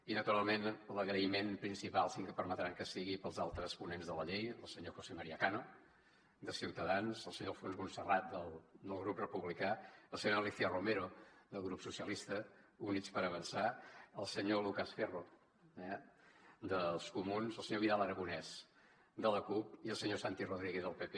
i naturalment l’agraïment principal sí que em permetran que sigui per als altres ponents de la llei el senyor josé maría cano de ciutadans el senyor alfons montserrat del grup republicà la senyora alícia romero del grup socialistes i units per avançar el senyor lucas ferro eh dels comuns el senyor vidal aragonés de la cup i el senyor santi rodríguez del pp